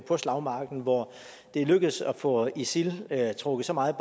på slagmarken hvor det er lykkedes at få isil trukket så meget